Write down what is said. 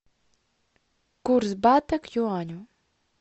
курс бата к юаню